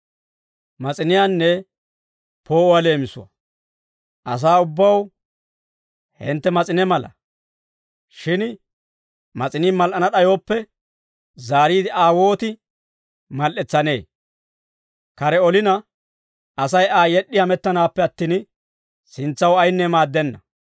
«Asaa ubbaw hintte mas'ine mala; shin mas'inii mal"ana d'ayooppe, zaariide Aa wooti mal"etsanee? Kare olina, Asay Aa yed'd'i hamettanaappe attin, sintsaw ayinne maaddenna.